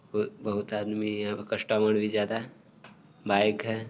बोहोत बोहोत आदमी है कस्टमर भी ज्यादा है| बाइक है।